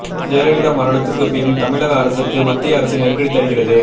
ஜெயலலிதா மரணத்துக்குப் பின் தமிழக அரசுக்கு மத்திய அரசு நெருக்கடி தருகிறது